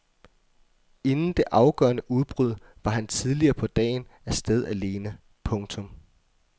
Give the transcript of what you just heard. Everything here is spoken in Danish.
Inden det afgørende udbrud var han tidligere på dagen af sted alene. punktum